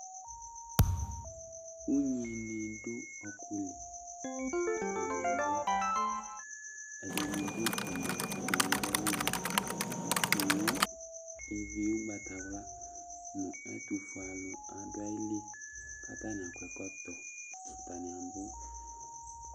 Ugnini dʋ ɔkʋli, atani abʋ, ɛdini dʋ umɛ, ɛdini bi dʋ alɔnu kʋ owu ʋgbatawla nʋ ɛtʋfue alʋ dʋ ayili k'atani ak'ɛkɔtɔ Atani abʋ